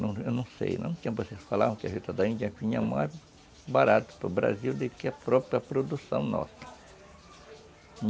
Não não sei, barata para o Brasil do que a própria produção nossa.